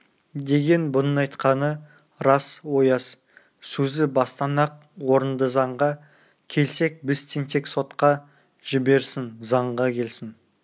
деген бұның айтқаны рас ояз сөзі бастан-ақ орынды заңға келсек біз тентек сотқа жіберсін заңға келсін